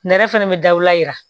Nɛrɛ fɛnɛ bɛ daw la